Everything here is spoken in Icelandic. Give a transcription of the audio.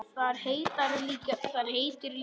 Þar heitir líka Lækur.